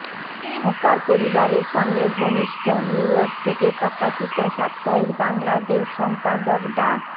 খোকার পরিবারের সঙ্গে ঘনিষ্ঠ নিউইয়র্ক থেকে প্রকাশিত সাপ্তাহিক বাংলাদেশ সম্পাদক ডা